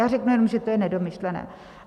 Já řeknu jenom, že to je nedomyšlené.